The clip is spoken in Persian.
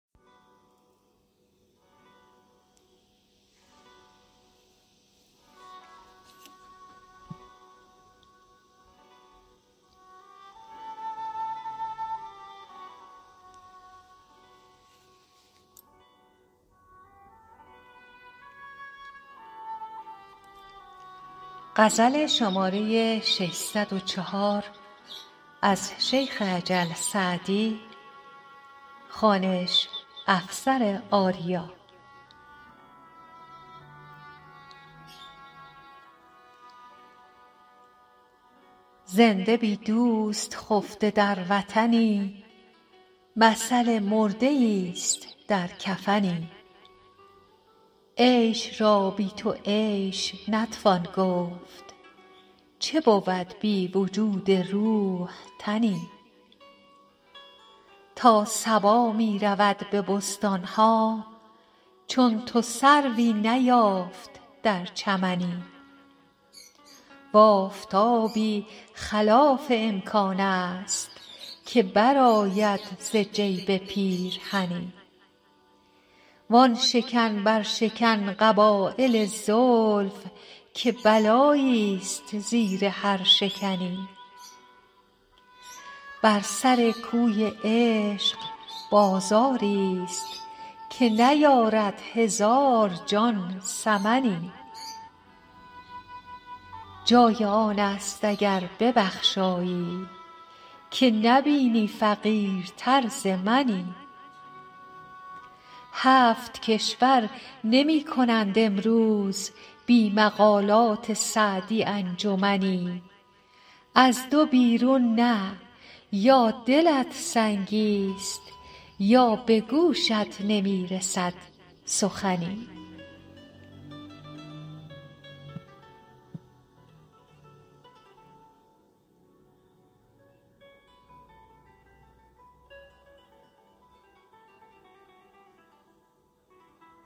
زنده بی دوست خفته در وطنی مثل مرده ایست در کفنی عیش را بی تو عیش نتوان گفت چه بود بی وجود روح تنی تا صبا می رود به بستان ها چون تو سروی نیافت در چمنی و آفتابی خلاف امکان است که برآید ز جیب پیرهنی وآن شکن برشکن قبایل زلف که بلاییست زیر هر شکنی بر سر کوی عشق بازاریست که نیارد هزار جان ثمنی جای آن است اگر ببخشایی که نبینی فقیرتر ز منی هفت کشور نمی کنند امروز بی مقالات سعدی انجمنی از دو بیرون نه یا دلت سنگیست یا به گوشت نمی رسد سخنی